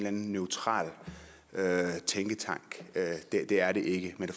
anden neutral tænketank det er det ikke mette